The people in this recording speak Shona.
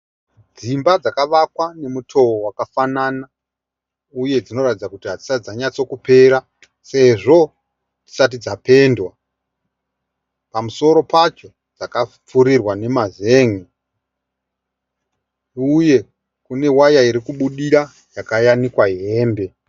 Dzimba dzakavakwa nemutovo wakafanana uye dzinoratidza kuti hadzisati dzanyatsokupera sezvo dzisati dzapendwa. Pamusoro pacho dzakapfurirwa nemazen'e uye kunewaya irikubudira yakayanikwa hembe.